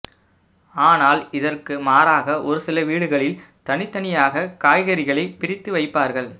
ஆனால் இதற்கு மாறாக ஒருசில வீடுகளில் தனித்தனியாக காய்கறிகளை பிரித்து வைப்பார்கள்